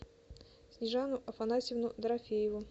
снежану афанасьевну дорофееву